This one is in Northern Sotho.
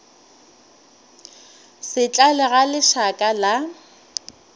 se tlale ga lešaka la